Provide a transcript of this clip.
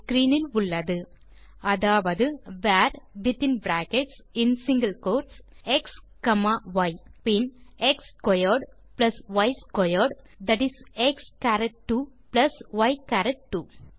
screen இல் உள்ளது அதாவது வர் வித்தின் பிராக்கெட்ஸ் மற்றும் சிங்கில் கோட்ஸ் xய் பின் x squared plus y squared that is x சரத் 2 பிளஸ் ய் சரத் 2